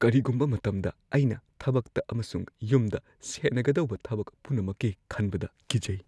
ꯀꯔꯤꯒꯨꯝꯕ ꯃꯇꯝꯗ ꯑꯩꯅ ꯊꯕꯛꯇ ꯑꯃꯁꯨꯡ ꯌꯨꯝꯗ ꯁꯦꯟꯅꯒꯗꯧꯕ ꯊꯕꯛ ꯄꯨꯝꯅꯃꯛꯀꯤ ꯈꯟꯕꯗ ꯀꯤꯖꯩ꯫